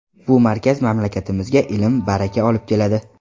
Bu markaz mamlakatimizga ilm, baraka olib keladi.